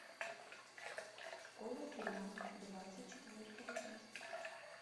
школа тюрьма двадцать четвертая часть